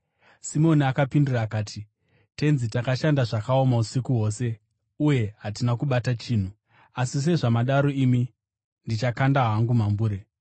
Simoni akapindura akati, “Tenzi, takashanda zvakaoma usiku hwose uye hatina kubata chinhu. Asi sezvamadaro imi, ndichakanda hangu mambure.”